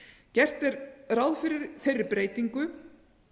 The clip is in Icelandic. gert er ráð fyrir þeirri breytingu